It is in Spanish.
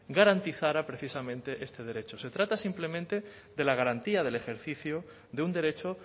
garantizara precisamente este derecho se trata simplemente de la garantía del ejercicio de un derecho